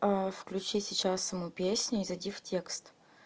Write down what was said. включи сейчас саму песню и зайди в текст